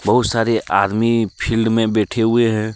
बहुत सारे आदमी फिल्ड मै बैठे हुए हैं।